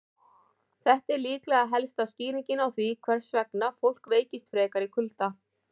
Þetta er líklega helsta skýringin á því hvers vegna fólk veikist frekar í kulda.